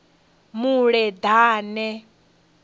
muleḓane